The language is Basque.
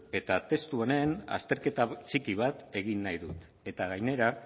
eta testu honen azterketa txiki bat egin nahi dut eta gainera